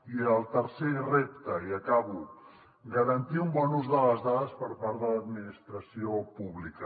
i el tercer repte i acabo garantir un bon ús de les dades per part de l’administració pública